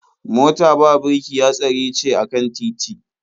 Mota ba birki hatsari ce a kan titi.